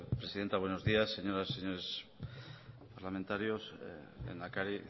presidenta buenos días señoras y señores parlamentarios lehendakari